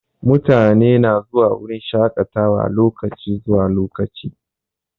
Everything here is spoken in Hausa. Mutane na zuwa wurin shaƙatawa lokaci zuwa lokaci.